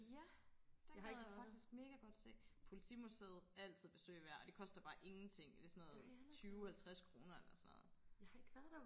ja den gad jeg faktisk mega godt se politimuseet altid besøg værd og det koster bare ingenting det er sådan noget tyve halvtreds kroner eller sådan noget